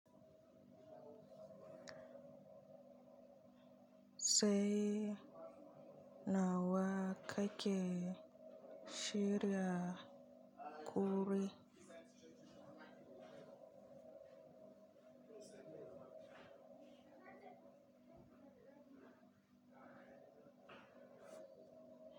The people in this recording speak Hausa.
Sai nawa ka ke shirya kuri?